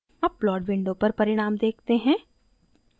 अब plot window पर परिणाम देखते हैं